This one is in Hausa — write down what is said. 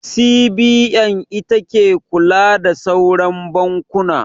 CBN ita ke kula da sauran bankuna.